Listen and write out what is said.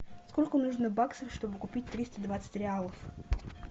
сколько нужно баксов чтобы купить триста двадцать реалов